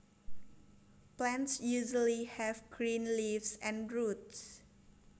Plants usually have green leaves and roots